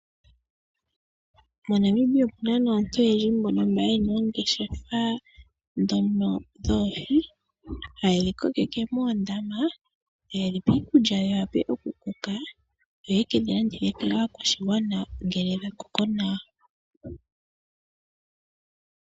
MoNamibia omu na aantu oyendji mbono mba yena oongeshefa dhono dhoohi, haye dhi kokeke moondaama taye dhipe iikulya dhi wape oku koka yoye kedhi landithe po kaakwashigwana ngele dhakoko nawa.